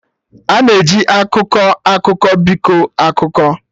Ana e ji "akụkọ akụkọ" biko akụkọ